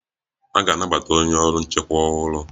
A ga-anabata onye ọrụ nchekwa ọhụrụ.